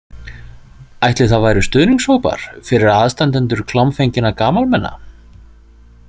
Ætli það væru stuðningshópar fyrir aðstandendur klámfenginna gamalmenna?